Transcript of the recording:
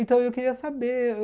Então eu queria saber...